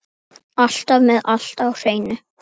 Alltaf með allt á hreinu.